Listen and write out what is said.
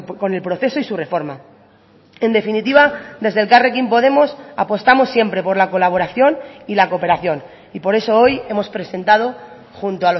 con el proceso y su reforma en definitiva desde elkarrekin podemos apostamos siempre por la colaboración y la cooperación y por eso hoy hemos presentado junto